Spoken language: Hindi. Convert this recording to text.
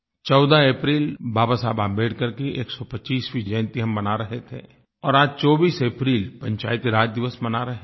14 अप्रैल बाबा साहब आंबेडकर की 125वीं जयंती हम मना रहे थे और आज 24 अप्रैल पंचायती राज दिवस मना रहे हैं